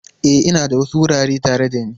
E, ina da wasu wurare tare da ni.